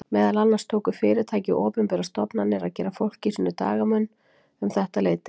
Meðal annars tóku fyrirtæki og opinberar stofnanir að gera fólki sínu dagamun um þetta leyti.